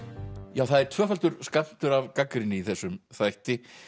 já það er tvöfaldur skammtur af gagnrýni í þessum þætti